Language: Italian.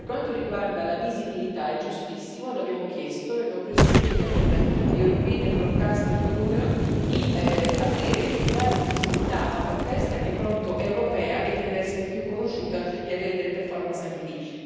Per quanto riguarda la visibilità, è giustissimo l'abbiamo chiesto, abbiamo preso un impegno con la European Broadcasting Union di dare più visibilità a un'orchestra che appunto è europea e che deve essere più conosciuta e avere delle performance anche lì.